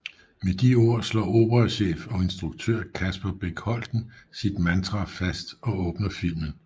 Med de ord slår operachef og instruktør Kasper Bech Holten sit mantra fast og åbner filmen